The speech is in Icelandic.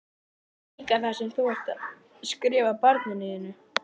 Og líka það sem þú ert að skrifa barninu þínu?